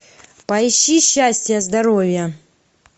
поищи счастья здоровья